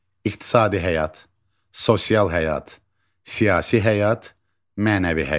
İqtisadi həyat, sosial həyat, siyasi həyat, mənəvi həyat.